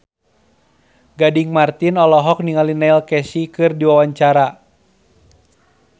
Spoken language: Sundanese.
Gading Marten olohok ningali Neil Casey keur diwawancara